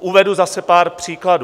Uvedu zase pár příkladů.